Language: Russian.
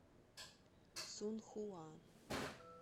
цунхуа